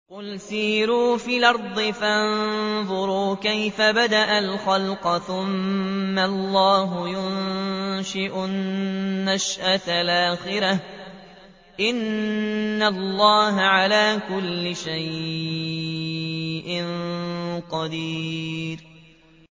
قُلْ سِيرُوا فِي الْأَرْضِ فَانظُرُوا كَيْفَ بَدَأَ الْخَلْقَ ۚ ثُمَّ اللَّهُ يُنشِئُ النَّشْأَةَ الْآخِرَةَ ۚ إِنَّ اللَّهَ عَلَىٰ كُلِّ شَيْءٍ قَدِيرٌ